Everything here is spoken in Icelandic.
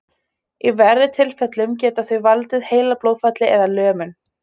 Í verri tilfellum geta þau valdið heilablóðfalli eða lömun.